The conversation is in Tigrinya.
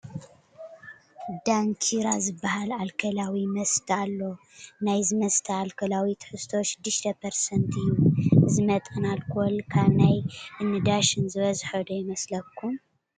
ዳንኪራ ዝበሃል ኣልኮላዊ መስተ ኣሎ፡፡ ናይዚ መስተ ኣልኮላዊ ትሕዝቶ 6 ፐርሰትንት እዩ፡፡ እዚ መጠን ኣልኮል ካብ ናይ እኒ ዳሸን ዝበዝሐ ዶ ይመስለኩም?